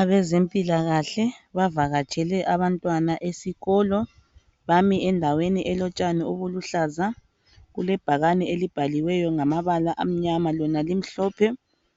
Abezempilakahle bavakatshele abantwana esikolo, bami endaweni elotshani obuluhlaza kulebhakane elibhaliweyo ngamabala amnyama lona limhlophe,